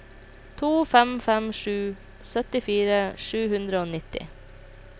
to fem fem sju syttifire sju hundre og nitti